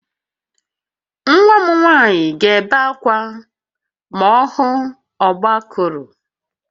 Nwa m nwanyị ga-ebe akwa ma ọ hụ ọgbakụrụ